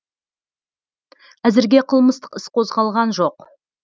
әзірге қылмыстық іс қозғалған жоқ